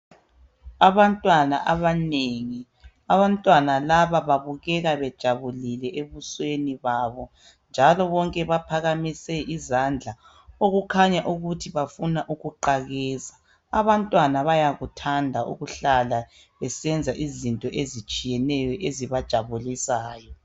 Abantwana abanengi abantwana laba babukela bejabulile ebusweni babo njalo bonke baphakamise isandla okukhanya ukuthi bafuna ukuqakeza .Abantwana bayathanda ukuhlala besenza izinto ezitsjiyeneyo ezibajabulisayo.